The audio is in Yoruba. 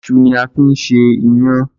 Iṣu ni a fi ń ṣe iyán.